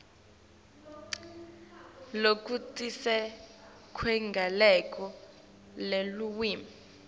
lokutsite kweligalelo lelulwimi